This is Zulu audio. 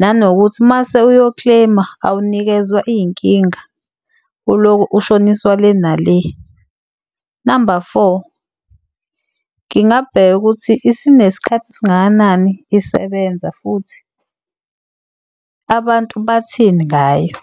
Nanokuthi mase uyo-claim-a awunikezwa iy'nkinga uloku ushoniswa le nale. Namba four, ngingabheka ukuthi isinesikhathi esingakanani isebenza futhi abantu bathini ngayo.